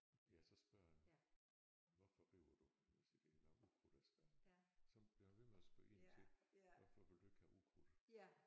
Ja så spørger han hvorfor river du jeg siger der er noget ukrudt jeg skal så bliver han ved med at spørge ind til hvorfor vil du ikke have ukrudt?